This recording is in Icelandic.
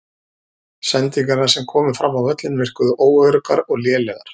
Sendingarnar sem komu fram á völlinn virkuðu óöruggar og lélegar.